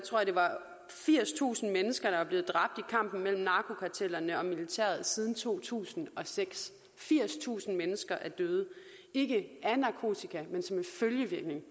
firstusind mennesker der er blevet dræbt i kampen mellem narkokartellerne og militæret siden to tusind og seks firstusind mennesker er døde ikke af narkotika men som en følgevirkning